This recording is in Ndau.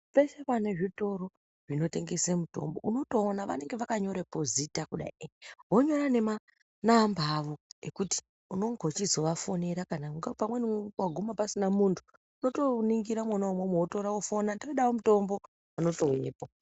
Peshe pane zvitoro zvinotengese mutombo unotoona vanenge vakatonyorepo zita kudai vonyora nemanamba awo ekuti unonge uchizovafonera kana ungaa pamweni waguma pasina muntu unotoningira mwona umwomwo wofona todawo mutombo unotouyepo.